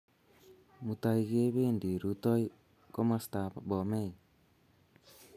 Mutai kependi rutoi kumastap Bomey